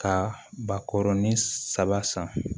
Ka ba kɔrɔnin saba san